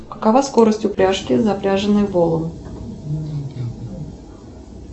какова скорость упряжки запряженной волом